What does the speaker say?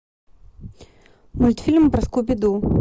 мультфильм про скуби ду